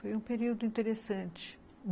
Foi um período interessante.